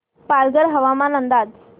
पालघर हवामान अंदाज